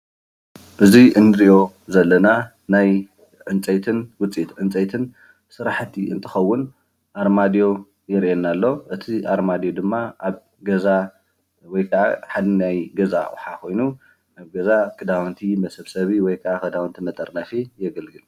እዙይ እንሪኦ ዘለና ናይ ዕንፀይትን ውፅኢቲ ዕንፀይትን ስራሕቲ እንትኾውን ኣርማድዩ ይርአየና ኣሎ። እቲ ኣርማድዩ ድማ ኣብ ገዛ ወይ ከዓ ሓደ ናይ ገዛ ኣቁሑ ኾይኑ ኣብ ገዛ ኽዳውንቲ መሰብሰቢ ወይኸዓ ኽዳውንቲመጠርነፊ የገልግል።